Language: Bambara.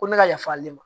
Ko ne ka yafa ale ma